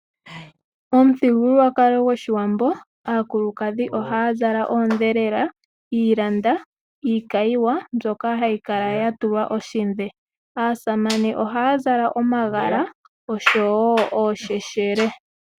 Omuthigululwakalo goshiwambo aakulukadhi ohaa zala oodhelela, iilanda, iikayiwa mbyoka hayi kala ya tulwa oshidhe. Aasamane oha ya zala omagala osho woo oosheshele.